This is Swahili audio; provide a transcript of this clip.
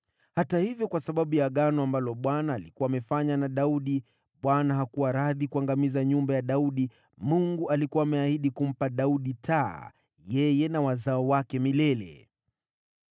Hata hivyo, kwa sababu ya Agano ambalo Bwana alikuwa amefanya na Daudi, Bwana hakuwa radhi kuangamiza nyumba ya Daudi. Mungu alikuwa ameahidi kuidumisha taa kwa ajili yake na wazao wake milele.